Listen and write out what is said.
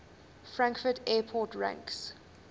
frankfurt airport ranks